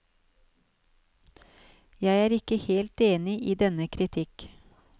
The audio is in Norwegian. Jeg er ikke helt enig i denne kritikk.